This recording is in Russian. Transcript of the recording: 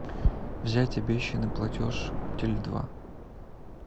взять обещанный платеж теле два